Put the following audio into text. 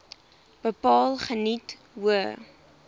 bepaal geniet hoë